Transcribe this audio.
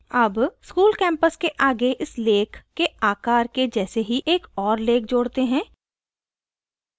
add school campus के आगे इस lake के आकार के जैसे ही एक और lake lake जोड़ते हैं